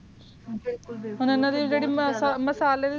ਬਿਲਕੁਲ ਬਿਲਕੁਲ ਹੁਣ ਯਨਾ